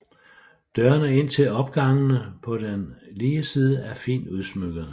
Dørene ind til opgangene på den lige side er fint udsmykkede